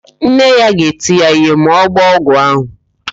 Nne ya ga-eti ya ihe ma ọ gbọọ ọgwụ ahụ.